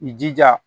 I jija